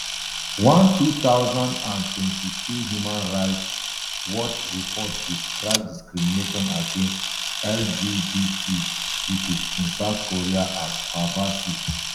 one two thousand and twenty-two human rights watch report describe discrimination against lgbt pipo in south korea as pervasive